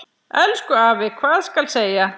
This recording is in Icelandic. Elsku afi, hvað skal segja.